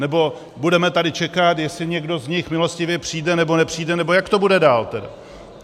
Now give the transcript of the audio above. Nebo budeme tady čekat, jestli někdo z nich milostivě přijde, nebo nepřijde, nebo jak to bude dál, tedy?